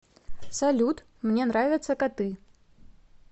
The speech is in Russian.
салют мне нравятся коты